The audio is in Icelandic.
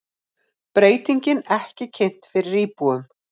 Breytingin ekki kynnt fyrir íbúum